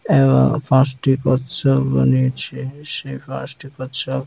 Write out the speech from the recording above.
এবং পাঁচটি কচ্ছপ এবং নীচে পাঁচটি কচ্ছপ --